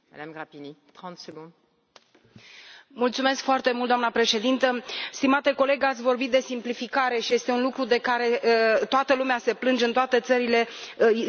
Doamna președintă, stimate coleg, ați vorbit de simplificare și este un lucru de care toată lumea se plânge în toate țările, inclusiv administrația, nu numai firmele private.